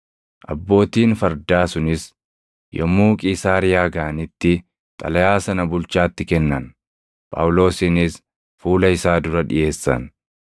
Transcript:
Abbootiin fardaa sunis yommuu Qiisaariyaa gaʼanitti xalayaa sana bulchaatti kennan; Phaawulosinis fuula isaa dura dhiʼeessan.